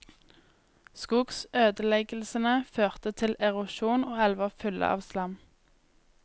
Skogsødeleggeslene førte til erosjon og elver fulle av slam.